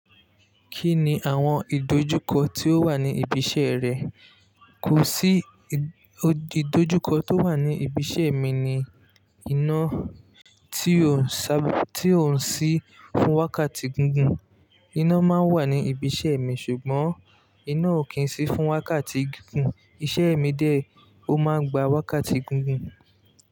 Kí ni àwọn ìdojúkọ ti ó wà ní ibi iṣẹ́ rẹ? Kò sí ìdojúkọ tó wà ní ibi iṣẹ́ mi ni. Iná tí ò ń ṣí fún wákàtí gugùn. Iná máa ń wà ní ibi iṣẹ́ mi ṣùgbọ́n iná ò kí ń ṣí fún wákàtí gígùn. Iṣẹ́ mi dè ọ máa ń gba wákàtí gugùn.